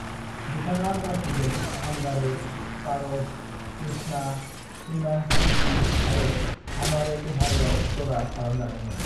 "बिथाङा राखीजों अंगारे, पारस, तृष्णा, श्रीमान श्रीमती आरो हमारे तुम्हारेआव जरा खालामजादोंमोन।"